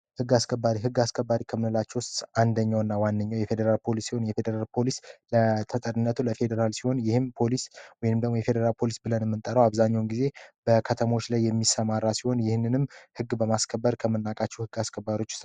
ሕግ አስከባሪ ከምንላች ውስጥ አንደኛው እና ዋንኛው የፌዴራል ፖሊስ ሲሆን የፌዴራል ፖሊስ ለተጠርነቱ ለፌዴራል ሲሆን ይህም ፖሊስ ይንምደግሞ የፌዴራል ፖሊስ ብለን ምንጠረው አብዛኘውን ጊዜ በከተሞች ላይ የሚሰማራ ሲሆን ይህንንም ህግ በማስከበር ከምናቃችሁ ህግ አስከባሮች